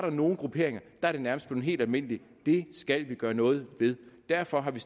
nogle grupperinger nærmest blevet helt almindeligt det skal vi gøre noget ved derfor har vi